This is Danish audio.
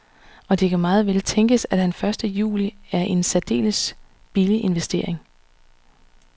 Og det kan meget vel tænkes, at han første juli er en særdeles billig investering.